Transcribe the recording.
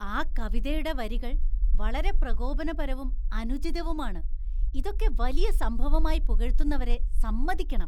ആ കവിതയുടെ വരികള്‍ വളരെ പ്രകോപനപരവും അനുചിതവുമാണ്, ഇതൊക്കെ വലിയ സംഭവമായി പുകഴ്ത്തുന്നവരെ സമ്മതിക്കണം.